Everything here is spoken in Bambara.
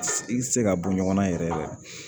I tɛ se ka bɔ ɲɔgɔn na yɛrɛ